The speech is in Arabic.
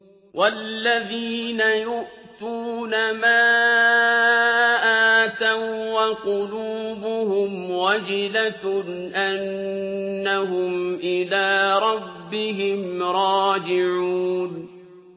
وَالَّذِينَ يُؤْتُونَ مَا آتَوا وَّقُلُوبُهُمْ وَجِلَةٌ أَنَّهُمْ إِلَىٰ رَبِّهِمْ رَاجِعُونَ